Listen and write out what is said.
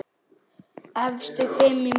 Efstu fimm í mótinu